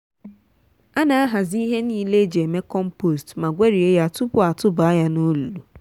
ana ahazi ihe niile eji eme compost ma gwerie ya tupu atụba ya n'olulu.